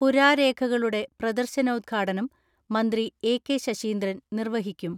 പുരാരേഖകളുടെ പ്രദർശനോദ്ഘാടനം മന്ത്രി എ.കെ ശശീന്ദ്രൻ നിർവഹിക്കും.